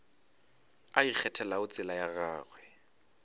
a ikgethelago tsela ya gagwe